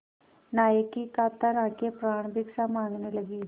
नायक की कातर आँखें प्राणभिक्षा माँगने लगीं